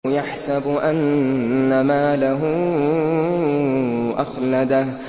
يَحْسَبُ أَنَّ مَالَهُ أَخْلَدَهُ